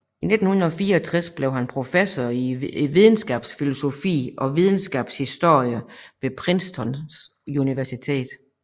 I 1964 blev han professor i videnskabsfilosofi og videnskabshistorie ved Princeton University